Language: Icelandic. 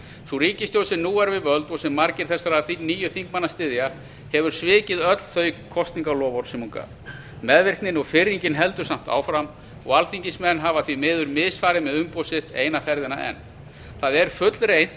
sú ríkisstjórn sem nú er við völd og sem margir þessara nýju þingmanna styðja hefur svikið öll þau kosningaloforð sem hún gaf meðvirknin og firringin heldur samt ásamt áfram og alþingismenn hafa því miður misfarið með umboð sitt eina ferðina enn það er fullreynt